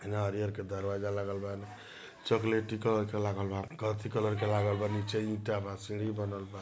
नारियल के दरवाजा लागल बा चॉकलेटी कलर का लागल बा कॉफ़ी कलर के लागल बा नीचे ईंटा बा सीढ़ी बा नल बा ।